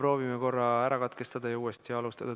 Proovime korra ühenduse katkestada ja siis uuesti alustada.